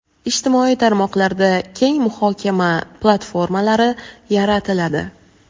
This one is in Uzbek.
ijtimoiy tarmoqlarda keng muhokama platformalari yaratiladi.